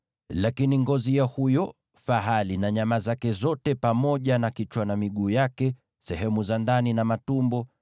Lakini ngozi ya huyo fahali na nyama zake zote, pamoja na kichwa na miguu yake, sehemu za ndani na matumbo,